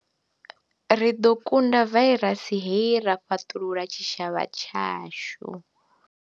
Ri ḓo kunda vairasi hei ra fhaṱulula tshitshavha tshashu.